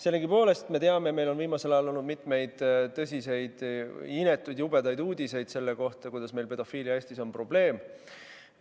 Sellegipoolest me teame, meil on viimasel ajal olnud mitmeid tõsiseid inetuid ja jubedaid uudiseid selle kohta, et pedofiilia on meil Eestis probleem.